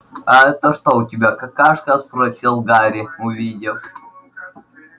а это что у тебя спросил гарри увидев обрамленную золотой каймой карточку торчащую из-под подушки